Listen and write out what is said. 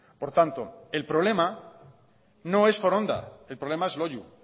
por tanto el problema no es foronda el problema es loiu